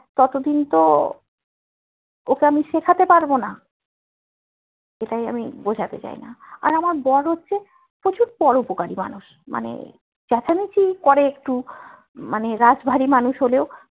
ততদিন তো ওকে আমি শিখতে পারবোনা এটাই আমি বোঝাতে যায়না আর আমার বড় হচ্ছে প্রচুর পরউপকারী মানুষ মানে চেঁচামিচি করে একটু মানে রাশ ভারী মানুষ হলেও